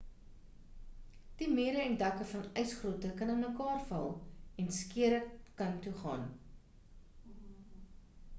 die mure en dakke van ysgrotte kan inmekaarval en skeure kan toegaan